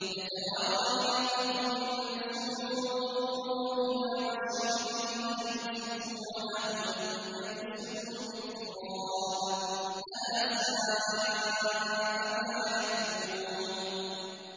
يَتَوَارَىٰ مِنَ الْقَوْمِ مِن سُوءِ مَا بُشِّرَ بِهِ ۚ أَيُمْسِكُهُ عَلَىٰ هُونٍ أَمْ يَدُسُّهُ فِي التُّرَابِ ۗ أَلَا سَاءَ مَا يَحْكُمُونَ